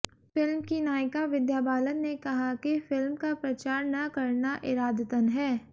film की नायिका विद्या बालन ने कहा कि फिल्म का प्रचार न करना इरादतन है